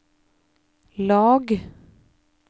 lag